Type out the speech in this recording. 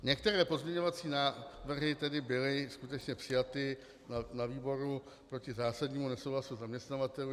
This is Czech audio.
Některé pozměňovací návrhy tedy byly skutečně přijaty na výboru proti zásadnímu nesouhlasu zaměstnavatelů.